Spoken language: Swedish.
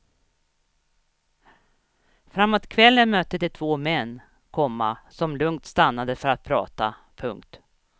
Framåt kvällen mötte de två män, komma som lugnt stannade för att få prata. punkt